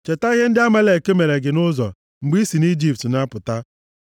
Cheta ihe ndị Amalek mere gị nʼụzọ mgbe i si nʼIjipt na-apụta.